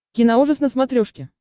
киноужас на смотрешке